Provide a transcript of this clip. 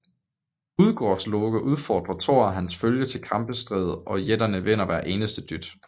Udgårdsloke udfordrer Thor og hans følge til kappestrid og jætterne vinder hver eneste dyst